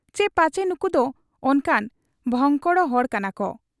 ᱪᱤ ᱯᱟᱪᱷᱮ ᱱᱩᱠᱩᱫᱚ ᱚᱱᱠᱟᱱ ᱵᱷᱚᱝᱠᱚᱲ ᱠᱟᱱᱟ ᱠᱚ ᱾